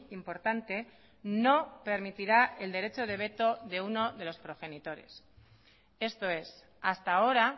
importante no permitirá el derecho de veto de uno de los progenitores esto es hasta ahora